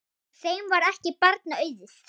Þeim varð ekki barna auðið.